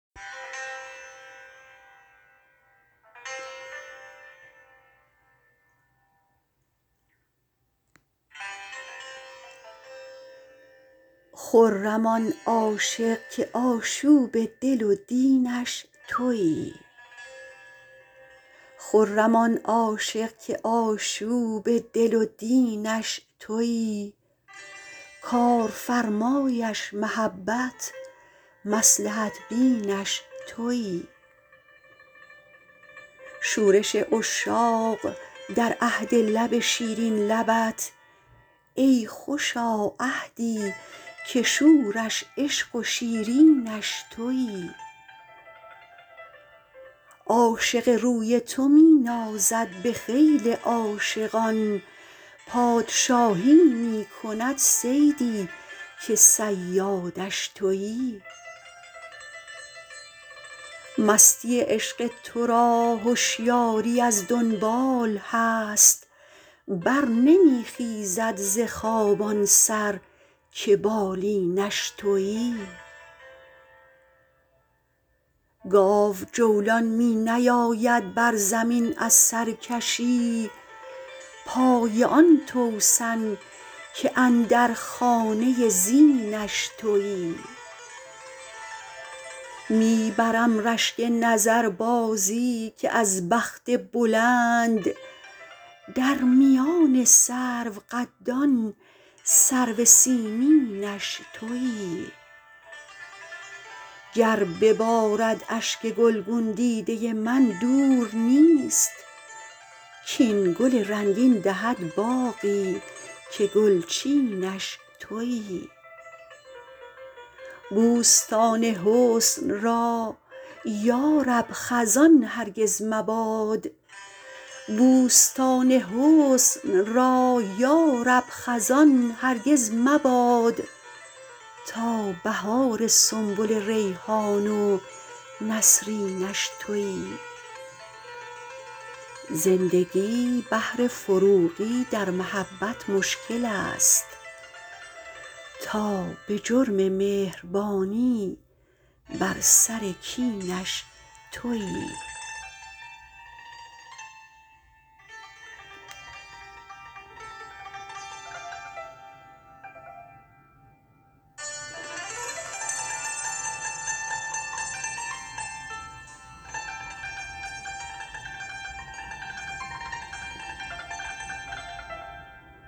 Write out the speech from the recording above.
خرم آن عاشق که آشوب دل و دینش تویی کار فرمایش محبت مصلحت بینش تویی شورش عشاق در عهد لب شیرین لبت ای خوشا عهدی که شورش عشق و شیرینش تویی عاشق روی تو می نازد به خیل عاشقان پادشاهی می کند صیدی که صیادش تویی مستی عشق تو را هشیاری از دنبال هست بر نمی خیزد ز خواب آن سر که بالینش تویی گاو جولان می نیاید بر زمین از سرکشی پای آن توسن که اندر خانه زینش تویی می برم رشک نظربازی که از بخت بلند در میان سرو قدان سرو سیمینش تویی گر ببارد اشک گلگون دیده من دور نیست کاین گل رنگین دهد باغی که گلچینش تویی بوستان حسن را یارب خزان هرگز مباد تا بهار سنبل ریحان و نسرینش تویی زندگی بهر فروغی در محبت مشکل است تا به جرم مهربانی بر سر کینش تویی